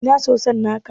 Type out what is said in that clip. Ina soson naka?